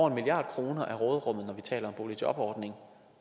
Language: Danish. en milliard kroner af råderummet når vi taler om boligjobordning